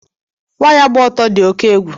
Waya gba ọtọ dị oke egwu